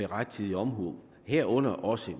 rettidig omhu herunder også i